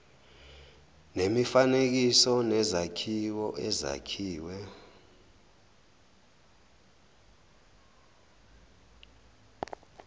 nemifanekiso nezakhiwo ezakhiwe